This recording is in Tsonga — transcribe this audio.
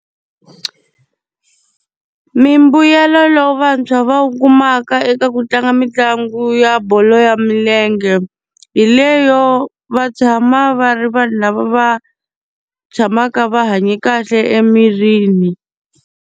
Mimbuyelo lowu vantshwa va wu kumaka eka ku tlanga mitlangu ya bolo ya milenge, hi leyo va tshama va ri vanhu lava va tshamaka va hanye kahle emirini.